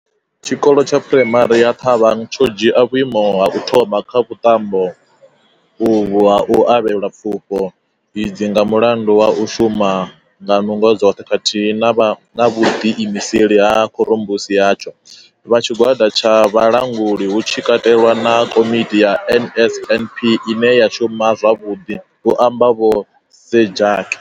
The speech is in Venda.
Tshikolo tsha phuraimari ya Thabang tsho dzhia vhuimo ha u thoma kha vhuṱambo uvhu ha u avhelwa pfufho idzi nga mulandu wa u shuma nga nungo dzoṱhe khathihi na vhuḓiimiseli ha khorombusi yatsho, vha tshigwada tsha vhulanguli hu tshi katelwa na Komiti ya NSNP ine ya shuma zwavhuḓi, hu amba vho Sejake.